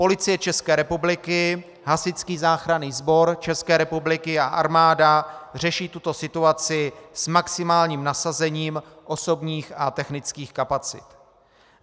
Policie České republiky, Hasičský záchranný sbor České republiky a armáda řeší tuto situaci s maximálním nasazením osobních a technických kapacit.